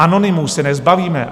Anonymů se nezbavíme.